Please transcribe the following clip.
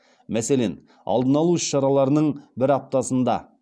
мәселен алдын алу іс шараларының бір аптасында